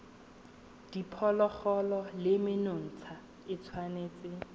diphologolo le menontsha e tshwanetse